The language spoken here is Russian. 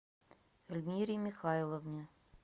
эльмире михайловне